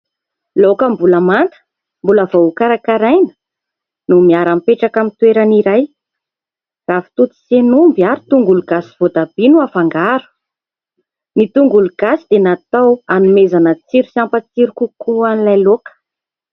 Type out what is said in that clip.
Laoka mbola manta, mbola voa ho karakaraina no miara-mipetraka amin'ny toerana iray. Ravitoto sy hen'omby ary tongologasy sy voatabia no hafangaro. Ny tongologasy dia natao hanomezana tsiro sy hampatsiro kokoa an'ilay laoka.